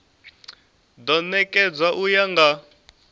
do nekedzwa u ya nga